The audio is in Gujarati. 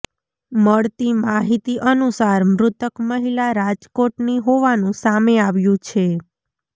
મળતી માહિતી અનુસાર મૃતક મહિલા રાજકોટની હોવાનું સામે આવ્યું છે